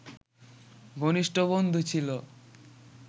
ঘনিষ্ট বন্ধু ছিল